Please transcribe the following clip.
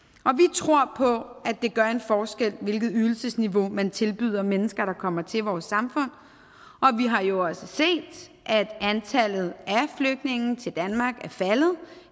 tror på at det gør en forskel hvilket ydelsesniveau man tilbyder mennesker der kommer til vores samfund og vi har jo også set at antallet af flygtninge til danmark er faldet